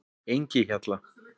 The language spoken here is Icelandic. Engihjalla